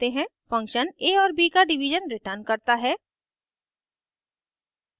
function a और b का division returns करता है